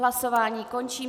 Hlasování končím.